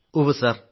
ഉവ്വ് സർ